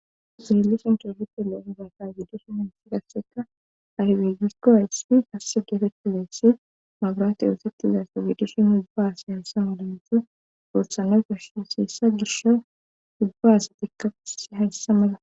Zeelles intofitelo7o hubaka wiidushi unsi dasseka arbegikko hayssi asse gefettideyssi mabraate uosettizaso giidushin ubba asa hayssa malanto goothana gasho sheessa gisho hubba asatikkau hayssa mala.